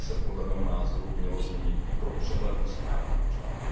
To by se podle mého názoru mělo změnit i pro přehlednost právního řádu.